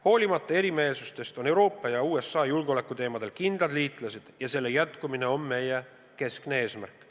Hoolimata erimeelsustest on Euroopa ja USA julgeolekuteemadel kindlad liitlased ja selle jätkumine on meie keskne eesmärk.